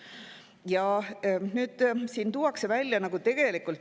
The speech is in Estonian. Ja siin on päris hea analüüs.